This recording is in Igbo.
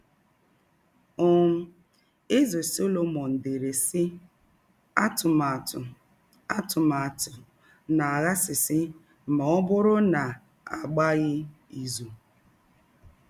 um Eze Sọlọmọn dere, sị: “ Atụmatụ “ Atụmatụ na - aghasasị ma ọ bụrụ na a gbaghị izụ. ”